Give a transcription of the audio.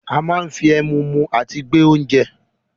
A máa ń fi ẹ̀mú mú àti gbé oúnje.